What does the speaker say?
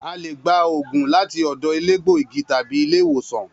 A le gba òògùn láti ọ̀dọ̀ elégbò igi tàbi ilé ìwòsàn